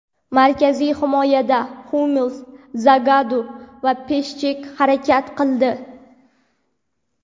Markaziy himoyada Hummels, Zagadu va Pishchek harakat qildi.